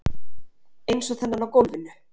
Eins og þennan á gólfinu.